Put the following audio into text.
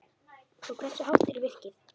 Og hversu hátt er virkið?